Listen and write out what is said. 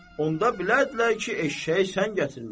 Onda bilərdilər ki, eşşəyi sən gətirmisən.